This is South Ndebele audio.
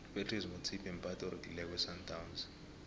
upratice motsipe mphathi oregileko wesandawnsi